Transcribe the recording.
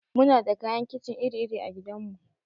Muna da kayan kicin iri iri a gidan mu.